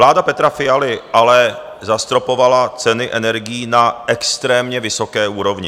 Vláda Petra Fialy ale zastropovala ceny energií na extrémně vysoké úrovni.